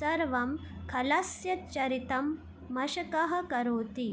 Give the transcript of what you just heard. सर्वं खलस्य चरितं मशकः करोति